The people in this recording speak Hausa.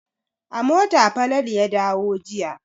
A mota Falalu ya dawo jiya.